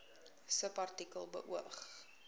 subartikel beoog